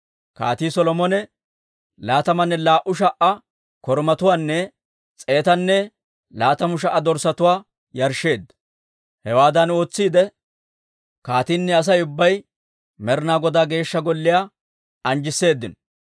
Kaatii Solomone laatamanne laa"u sha"a korumatuwaanne s'eetanne laatamu sha"a dorssatuwaa yarshsheedda. Hewaadan ootsiide, kaatiinne Asay ubbay Med'inaa Godaa Geeshsha Golliyaa anjjisseedino.